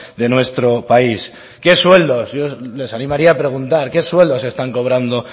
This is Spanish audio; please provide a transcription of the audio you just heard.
de nuestro país qué sueldos les animaría a preguntar qué sueldos están cobrando